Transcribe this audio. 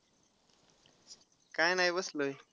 काय नाही बसलोय.